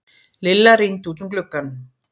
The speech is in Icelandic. Lilla rýndi út um gluggann.